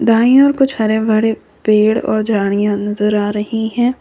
दाएं ओर कुछ हरे भरे पेड़ और झाड़ियां नजर आ रही है।